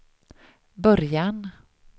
början